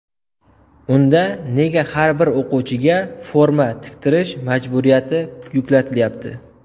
Unda nega har bir o‘quvchiga forma tiktirish majburiyati yuklatilyapti?